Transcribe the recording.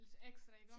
Ekstra iggå